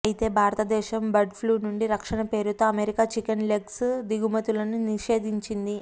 అయితే భారతదేశం బర్డ్ఫ్లూ నుండి రక్షణ పేరుతో అమెరికా చికెన్ లెగ్స్ దిగుమతులను నిషేధించిం ది